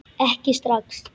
Ekki strax